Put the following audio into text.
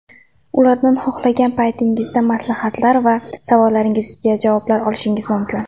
Ulardan xohlagan paytingizda maslahatlar va savollaringizga javoblar olishingiz mumkin.